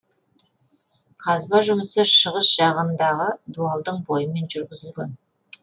қазба жұмысы шығыс жағындағы дуалдың бойымен жүргізілген